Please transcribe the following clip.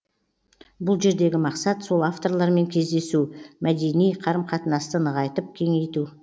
бұл жердегі мақсат сол авторлармен кездесу мәдени қарым қатынасты нығайтып кеңейту